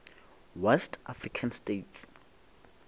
west african states